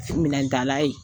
Minɛtala ye